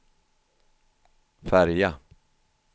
färja